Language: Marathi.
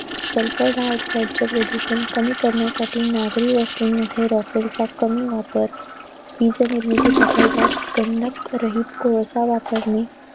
Sulphur dioxide च प्रदूषण कमी करण्यासाठी नागरी व्यवस्थेमध्ये rockel चा कमी वापर. वीज निर्मिती प्रकल्पात गंधकरहित कोळसा वापरणे.